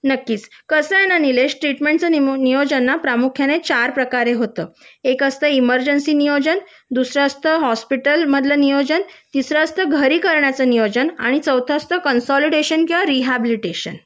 नक्कीच कसंय ना निलेश त्यां ट्रीटमेंटचं नियोजन ना प्रामुख्याने चार प्रकारे होतो एक असतं इमर्जन्सी नियोजन दुसरा असत हॉस्पिटलमधलं नियोजन तिसरं असतं घरी करण्याचे नियोजन आणि चौथ असत कन्सोलिडेशन किंवा रीहाबिलिटेशन